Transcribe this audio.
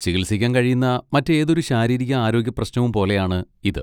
ചികിത്സിക്കാൻ കഴിയുന്ന മറ്റേതൊരു ശാരീരിക ആരോഗ്യപ്രശ്നവും പോലെയാണ് ഇത്.